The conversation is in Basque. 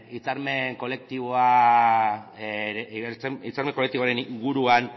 hitzarmen kolektiboaren inguruan